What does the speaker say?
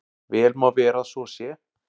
Vel má vera að svo sé.